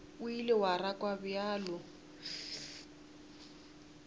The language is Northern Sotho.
o ile wa rakwa bjalo